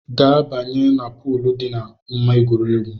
Ga banye na poolu dị n’ama egwuregwu!